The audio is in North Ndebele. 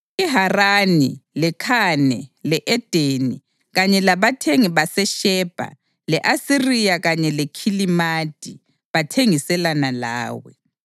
IHarani, leKhane le-Edeni kanye labathengi baseShebha, le-Asiriya kanye leKhilimadi bathengiselana lawe.